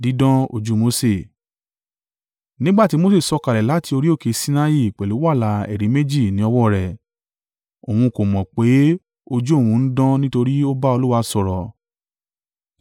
Nígbà tí Mose sọ̀kalẹ̀ láti orí òkè Sinai pẹ̀lú wàláà ẹ̀rí méjì ní ọwọ́ rẹ̀, òun kò mọ̀ pé ojú òun ń dán nítorí ó bá Olúwa sọ̀rọ̀.